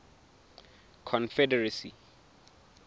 confederacy